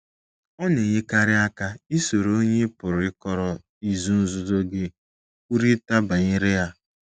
Ọ na - enyekarị aka isoro onye ị pụrụ ịkọrọ izu nzuzo gị kwurịta banyere ya.